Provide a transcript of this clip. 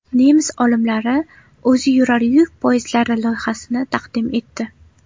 Nemis olimlari o‘ziyurar yuk poyezdlari loyihasini taqdim etdi.